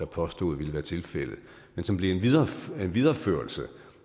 påstod ville være tilfældet men som blev en videreførelse videreførelse